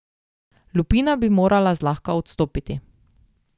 Lupina bi morala zlahka odstopiti.